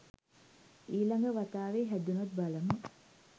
ඊ ළඟ වතාවේ හැදුනොත් බලමු.